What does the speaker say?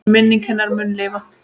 Minning hennar mun lifa.